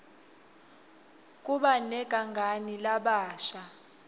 kuba negangani labasha